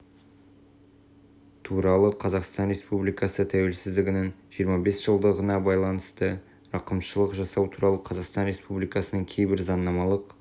туралы қазақстан республикасы тәуелсіздігінің жиырма бес жылдығына байланысты рақымшылық жасау туралы қазақстан республикасының кейбір заңнамалық